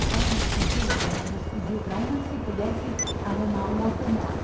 Então, ele pediu, o Milos pediu, para uma se pudesse arrumar um outro nome.